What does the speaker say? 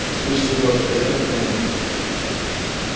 слышь сереж а поехали домой